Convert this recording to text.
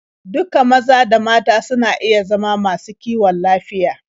Duka maza da mata suna iya zama masu kiwon lafiya.